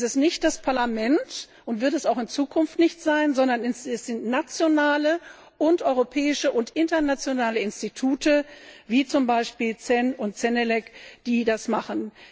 Es ist nicht das Parlament und wird es auch in Zukunft nicht sein sondern es sind nationale, europäische und internationale Institute, wie zum Beispiel CEN und CENELEC, die das machen.